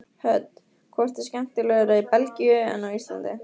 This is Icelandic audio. Hödd: Hvort er skemmtilegra í Belgíu en á Íslandi?